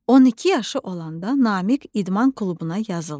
12 yaşı olanda Namiq idman klubuna yazıldı.